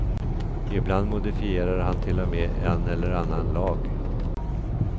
Ibland modifierar han till och med en eller annan lag.